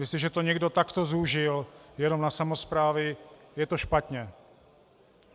Jestliže to někdo takto zúžil jenom na samosprávy, je to špatně.